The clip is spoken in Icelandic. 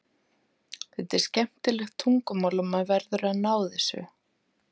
Þetta er skemmtilegt tungumál og maður verður að ná þessu.